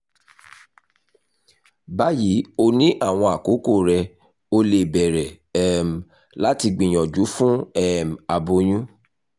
bayi o ni awọn akoko rẹ o le bẹrẹ um lati gbiyanju fun um aboyun